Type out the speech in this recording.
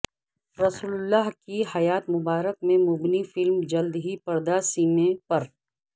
رسول اللہ کی حیات مبارکہ پر مبنی فلم جلد ہی پردہ سیمیں پر